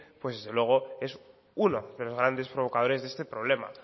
pues desde luego es uno de los grandes provocadores de este problema